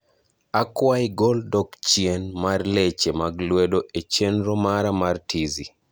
akwai gol dok chien mar leche mag lwedo e chenro mara mar tizi